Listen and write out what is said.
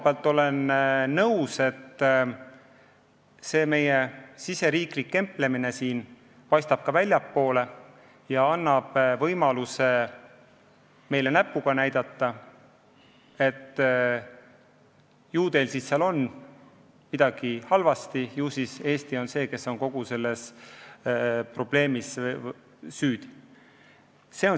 Ma olen nõus, et see meie riigisisene kemplemine paistab ka väljapoole ja annab võimaluse Eesti peale näpuga näidata, et ju teil siis on midagi halvasti, ju siis Eesti on kogu selles probleemis süüdi.